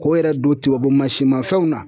K'o yɛrɛ don tubabu mansinmafɛnw na